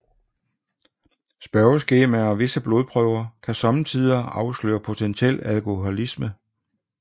Spørgeskemaer og visse blodprøver kan somme tider afsløre potentiel alkoholisme